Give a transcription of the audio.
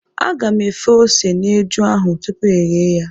Aga m efe ose n'eju ahụ tupu ghee ya.